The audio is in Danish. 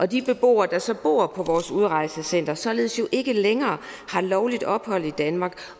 de beboere der så bor på vores udrejsecentre har således ikke længere lovligt ophold i danmark